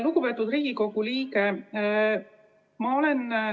Lugupeetud Riigikogu liige!